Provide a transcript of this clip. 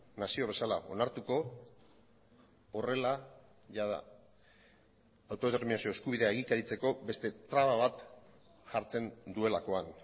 nazio bezala onartuko horrela jada autodeterminazio eskubidea egikaritzeko beste traba bat jartzen duelakoan